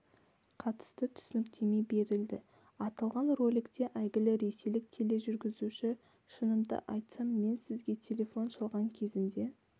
қатысты түсініктеме берілді аталған роликте әйгілі ресейлік тележүргізуші шынымды айтсам мен сізге телефон шалған кезімде